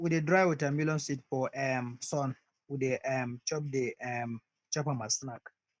we de dry watermelon seed for um sun we de um chop de um chop am as snack